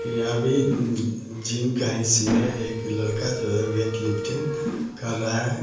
यहां भी जिम का ही सीन है एक लका जो है वो वैटलिफ्टिंग कर रहा है।